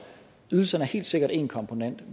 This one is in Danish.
ydelserne er helt sikkert en komponent